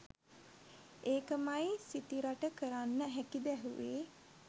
ඒකමයි සිතිරට කරන්න හැකිද ඇහුවේ